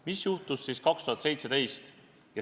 Mis juhtus siis aastal 2017?